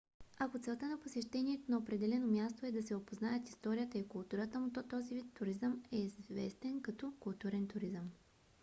ако целта на посещението на определено място е да се опознаят историята и културата му то този вид туризъм е известен като културен туризъм